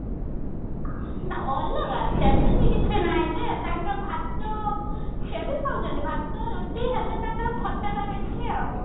ଅଲଗା ସେମିତି କିଛି ନାଇଁ ଯେ ତାଙ୍କ ଭାତ ସିଏ ବି ଖାଉଛନ୍ତି ଭାତ ରୁଟି ହେଲେ ତାଙ୍କର ଖଟା ଟା ବେଶୀ ଆଉ